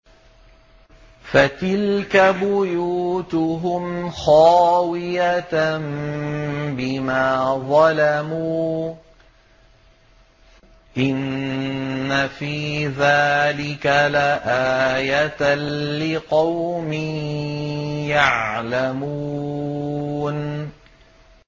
فَتِلْكَ بُيُوتُهُمْ خَاوِيَةً بِمَا ظَلَمُوا ۗ إِنَّ فِي ذَٰلِكَ لَآيَةً لِّقَوْمٍ يَعْلَمُونَ